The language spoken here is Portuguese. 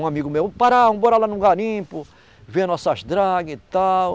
Um amigo meu, Pará, vamos morar lá no garimpo, ver nossas dragas e tal.